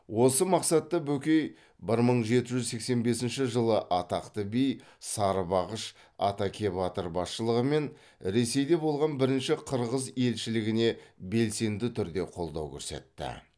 осы мақсатта бөкей бір мың жеті жүз сексен бесінші жылы атақты би сарыбағыш атакебатыр басшылығымен ресейде болған бірінші қырғыз елшілігіне белсенді түрде қолдау көрсетті